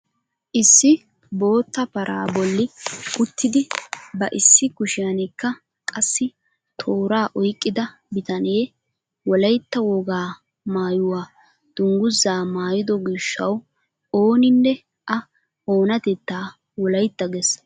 Issi bootta paraa bolli uttidi ba issi kushiyaanikka qassi tooraa oyqqida bitanee wolaytta wogaa maayuwaa dunguzaa maayido gishshawu ooninne a oonatettaa wolaytta ges!